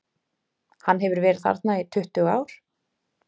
Hann hefur verið þarna í tuttugu ár.